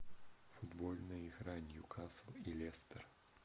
футбольная игра ньюкасл и лестер